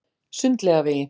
Sundlaugavegi